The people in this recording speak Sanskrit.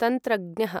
तन्त्रज्ञः